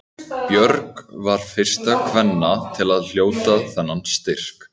Björg var fyrst kvenna til að hljóta þennan styrk.